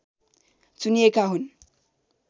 चुनिएका हुन्